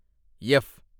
F